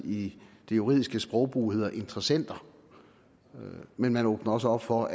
i det juridiske sprogbrug hedder interessenter men man åbner også op for